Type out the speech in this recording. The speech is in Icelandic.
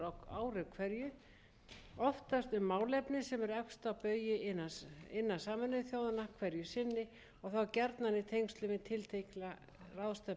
á vettvangi alþjóðaþingmannasambandsins á árinu tvö þúsund og níu vil ég leggja áherslu á nokkur atriði en þau